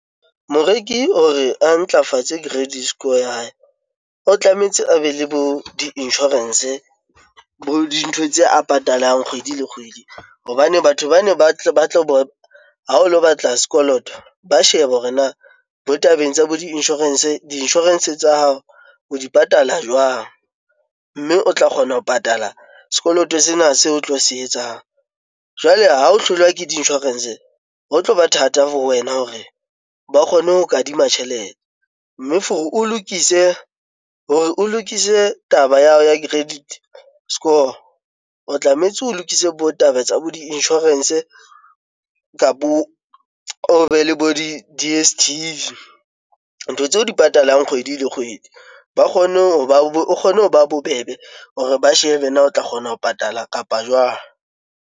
Moreki hore a ntlafatse credit score ya hae, o tlametse a be le bo di-insurance, bo dintho tse a patalang kgwedi le kgwedi. Hobane batho bana ha o lo batla sekoloto, ba shebe hore na bo tabeng tsa bo di-insurance, di insurance tsa hao o di patala jwang? Mme o tla kgona ho patala sekoloto sena seo o tlo se etsang. Jwale ha o hlolwa ke di-insurance, ho tloba thata for wena hore ba kgone ho o kadima tjhelete. Mme for-e o lokise, hore o lokise taba ya hao ya credit score, o tlametse o lokise bo taba tsa bo di-insurance kapo o be le bo di-D_S_T_V. Ntho tseo di patalang kgwedi le kgwedi, ba kgone o kgone ho ba bobebe hore ba shebe na o tla kgona ho patala kapa jwang?